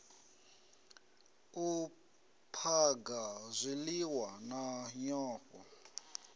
u phaga zwiliwa na nyofho